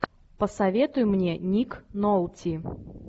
посоветуй мне ник нолти